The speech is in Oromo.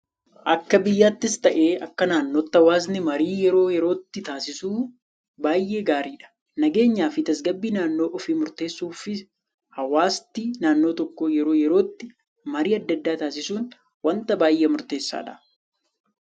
Akka biyyaattis ta'ee akka naannootti hawaasni marii yeroo yerootti taasisu baayyee gaariidha. Nageenya fi tasgabbii naannoo ofii murteessuuf hawaasti naannoo tokkoo yeroo yerootti marii addaa addaa taasisuun waanta baayyee murteessaadha.